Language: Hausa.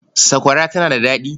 Sakwara tana da daɗi.